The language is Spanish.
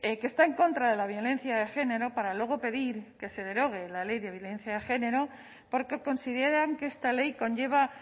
que está en contra de la violencia de género para luego pedir que se derogue la ley de violencia de género porque consideran que esta ley conlleva